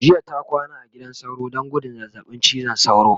jiya ta kwana a gidan sauro Dan gudun zazzaɓin cizon sauro